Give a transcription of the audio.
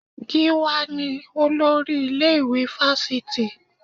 Gíwá ni olórí ilé-ìwé Fásitì